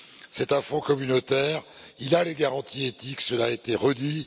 C'est un fonds communautaire, il a les garanties éthiques, cela été redit.